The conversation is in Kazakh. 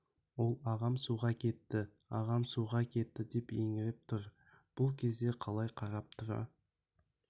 ол ағам суға кетті ағам суға кетті деп еңіреп тұр бұл кезде қалай қарап тұра